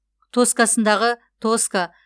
тоскасындағы тоска